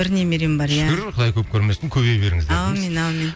бір немерем бар иә шүкір құдай көп көрмесін көбейе беріңіздер аумин аумин